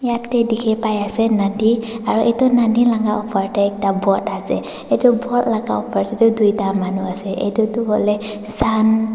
dikhipaiase nodi aro edu nodi laka opor tae ekta boat ase edu boat laka opor tae toh tuita manu ase edu toh hoilae sun .